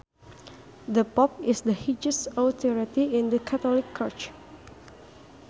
The Pope is the highest authority in the Catholic church